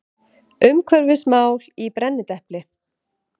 Umhverfismál í brennidepli.